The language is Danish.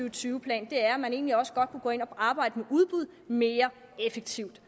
og tyve plan er at man egentlig også godt kan gå ind og arbejde mere effektivt